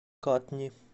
катни